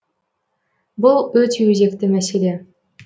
бұл өте өзекті мәселе